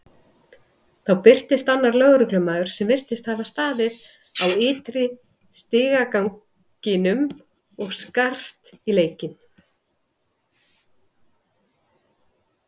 Þá birtist annar lögreglumaður sem virtist hafa staðið á ytri stigaganginum og skarst í leikinn.